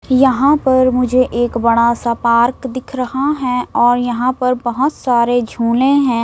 यहां पर मुझे एक बड़ा सा पार्क दिख रहा है और यहां पर बहोत सारे झूले हैं।